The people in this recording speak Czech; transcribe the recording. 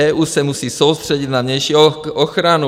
EU se musí soustředit na vnější ochranu.